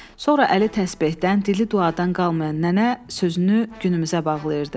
Sonra əli təsbehdən, dili duadan qalmayan nənə sözünü günümüzə bağlayırdı.